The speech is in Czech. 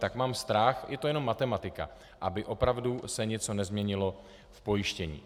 Tak mám strach, je to jenom matematika, aby opravdu se něco nezměnilo v pojištění.